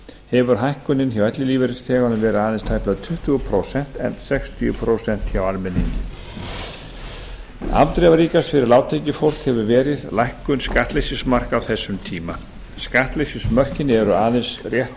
hefur hækkunin hjá ellilífeyrisþeganum verið aðeins tæplega tuttugu prósent en sextíu prósent hjá almenningi afdrifaríkast fyrir lágtekjufólk hefur verið lækkun skattleysismarka á þessum tíma skattleysismörkin eru aðeins rétt